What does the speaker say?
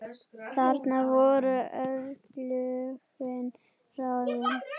Þarna voru örlögin ráðin.